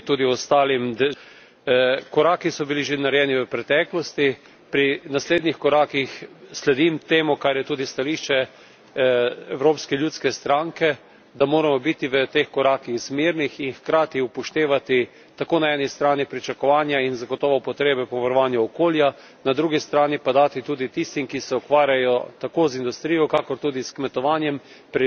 Koraki so bili že narejeni v preteklosti, pri naslednjih korakih, sledim temu, kar je tudi stališče Evropske ljudske stranke, da moramo biti v teh korakih zmerni in hkrati upoštevati tako na eni strani pričakovanja in zagotovo potrebe po varovanju okolja, na drugi strani pa dati tudi tistim, ki se ukvarjajo tako z industrijo kakor tudi s kmetovanjem, priložnost, da prilagodijo svoje tehnike